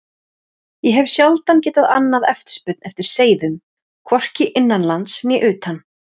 Ég hef sjaldan getað annað eftirspurn eftir seiðum, hvorki innanlands né utan.